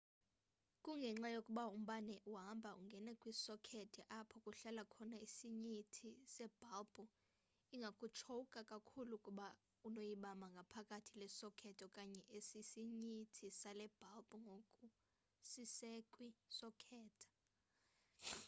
kungenxa yokuba umbane uhamba ungene kwisokethi apho kuhlala khona isinyithi sebhalbhu ingakutshowukha kakhulu ukuba unoyibamba ngaphakathi le sokethi okanye esisinyithi sale bhalbhu ngoku sisekwi sokethi